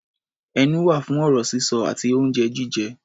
Ẹnu wà fún ọ̀rọ̀ sísọ àti oúnjẹ jíjẹ.